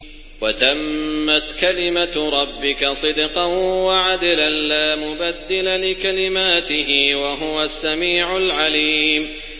وَتَمَّتْ كَلِمَتُ رَبِّكَ صِدْقًا وَعَدْلًا ۚ لَّا مُبَدِّلَ لِكَلِمَاتِهِ ۚ وَهُوَ السَّمِيعُ الْعَلِيمُ